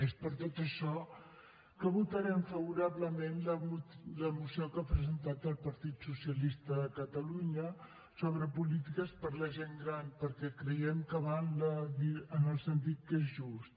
és per tot això que votarem favorablement la moció que ha presentat el partit socialista de catalunya sobre polítiques per a la gent gran perquè creiem que va en el sentit que és just